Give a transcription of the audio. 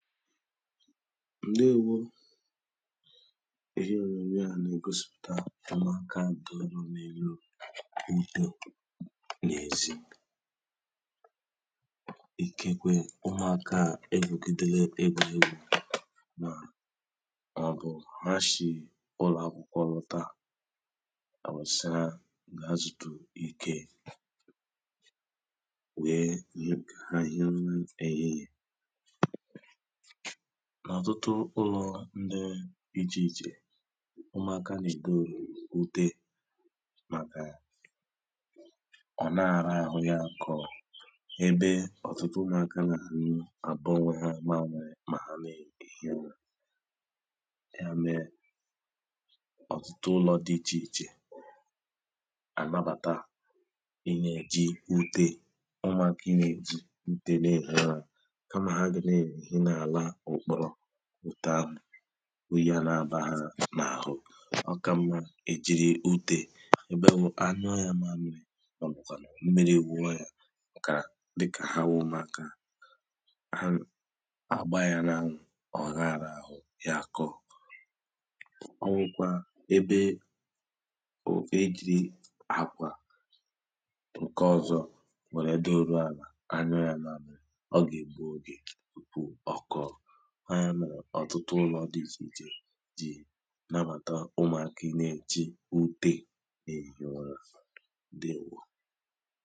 ǹdeèwo ihe ònyònyòa nà-ègosịpùta ụmụ̀aka dị òlenòlo udò n’èzi ikekwe ụmụ̀aka a ewègidele egwùriegwu mà ọ̀bụ̀ ha shì ụlọ̀akwụkwọ lọta àwusa kà ha zùtu ikē weē yipù kà ha hie ụra èhihè n’ọ̀tụtụ ụlọ̀ ndi dị ịchè ịchè ụmụ̀aka nà-èdo ute màkà ọ̀laa àra àhụ ya àkọọ ebe ọ̀tụtụ ụmụ̀aka rahu ụra àbọ onwe ha mmamiri mà ha na-èhi ura ya mee ọ̀tụtụ ụlọ̀ dị ịchè ịchè ànabàta ịnēji ute ụmụ̀aka ịnējị ute na-èhi ụra kamà ha gà na-èhi n’àlà ụ̀kpọrọ òtù ahụ̀ oyī à na-abà ha n’àhụ ọkà mma ị jị̀rị̀ utē ebenwụ̄ anyụọ ya mmamịrị ọ̀bụ̀kwà mmịrị wuọ ya kà dikà ha wu ụmụ̀aka ha àgba ya n’anwụ̄ ọ̀ra àrahụ̄ ya akọ̄ ọnwukwa ebe ò e jị̀rị àkwà ǹkè ọ̀zọ wère doruàlà anyụọ ya mamịrị ọgà-ègbu ogè ọ̀kọọ ọọya mèrè ọ̀tụtụ ụlọ̀ dị ịchè ịchè nabàta ụmụ̀aka ina-èji ute èhi ụrā ǹdeèwo